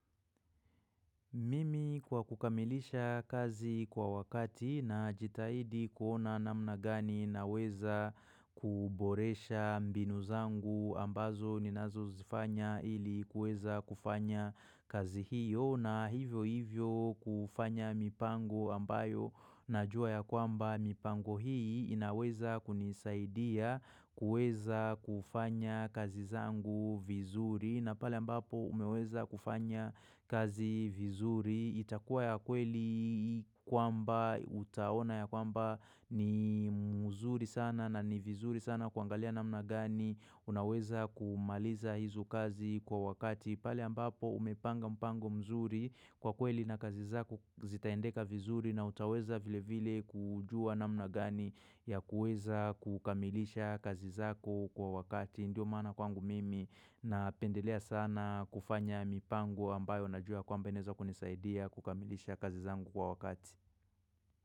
Mimi kwa kukamilisha kazi kwa wakati na jitahidi kuona na mnagani na weza kuboresha mbinu zangu ambazo ninazo zifanya ili kueza kufanya kazi hiyo na hivyo hivyo kufanya mipango ambayo na jua ya kwamba mipango hii inaweza kunisaidia kueza kufanya kazi zangu vizuri na pale ambapo umeweza kufanya kazi vizuri. Itakuwa ya kweli kwamba utaona ya kwamba ni mzuri sana na ni vizuri sana kuangalia namna gani. Unaweza kumaliza hizo kazi kwa wakati. Pale ambapo umepanga mpango mzuri kwa kweli na kazi zako zitaendeka vizuri na utaweza vile vile kujua na mnagani ya kueza kukamilisha kazi zako kwa wakati ndio maana kwangu mimi na pendelea sana kufanya mipango ambayo na jua kwamba ineza kunisaidia kukamilisha kazi zangu kwa wakati.